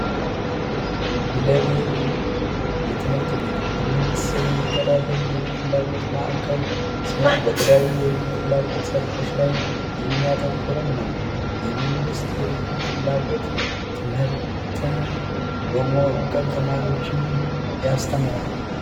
ጉለሌ የልዩ ፍላጎት ትምህርት ቤት በመንግስት ስር የሚተዳደር የልዩ ፍላጎት ማዕከል ሲሆን በተለያየ ፍላጎት ላይ የሚያተኩር ነው መንግስት የልጆች ፍላጎት ትምህርት በመወከል ተማሪዎችን ያስተምራል።